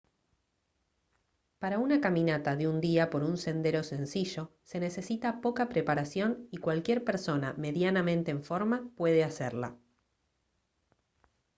para una caminata de un día por un sendero sencillo se necesita poca preparación y cualquier persona medianamente en forma puede hacerla